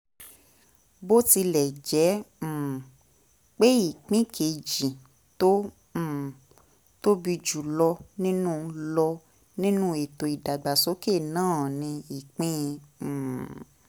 bó tilẹ̀ jẹ́ um pé ìpín kejì tó um tóbi jù lọ nínú lọ nínú ètò ìdàgbàsókè náà ni ìpín um